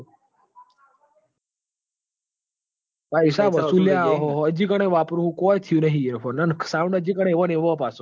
પઇસા વશુંલ લાયા અજી કણે વાપરું હું કોઈ થુંયુ નહી ઇએ કન sound અજી કણ એવોન એવોન હી પાશો